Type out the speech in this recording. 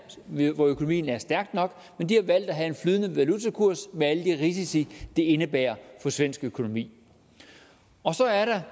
hvor økonomien er stærk nok men de har valgt at have en flydende valutakurs med alle de risici det indebærer for svensk økonomi og så er der